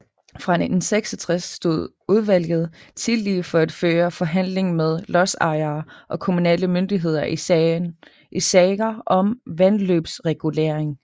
Fra 1966 stod udvlget tillige for at føre forhandling med lodsejere og kommunale myndigheder i sager om vandløbsregulering